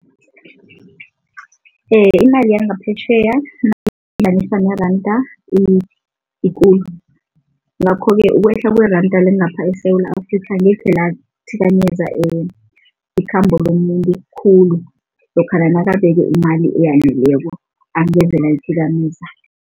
Imali yangaphetjheya neranda ikulu ngakho-ke ukwehla kweranda langapha eSewula Afrika angekhe lathikameza ikhambo lomuntu khulu lokha nakabeke imali eyaneleko angeze layithikameza.